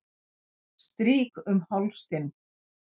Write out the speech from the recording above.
Strýk um háls þinn.